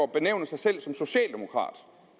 benævne sig selv som socialdemokrat